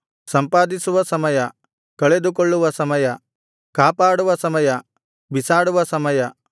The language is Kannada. ಸಂಪಾದಿಸುವ ಸಮಯ ಕಳೆದುಕೊಳ್ಳುವ ಸಮಯ ಕಾಪಾಡುವ ಸಮಯ ಬಿಸಾಡುವ ಸಮಯ